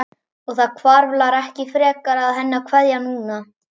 Og það hvarflar ekki frekar að henni að kveðja núna.